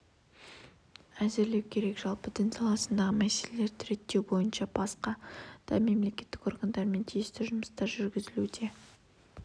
әзірлеу керек жалпы дін саласындағы мәселелерді реттеу бойынша басқа да мемлекеттік органдармен тиісті жұмыстар жүргізілуде